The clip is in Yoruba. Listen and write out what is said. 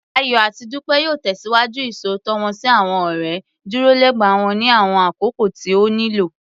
Ayọ̀ àti Dúpẹ́ yóò tẹ̀síwájú Ìṣòótọ́ wọ́n sí àwọn ọ̀rẹ́, dúró lẹba wọn ní àwọn àkókò tí ó nílò